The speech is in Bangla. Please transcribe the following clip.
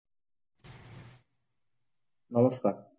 নমস্কার,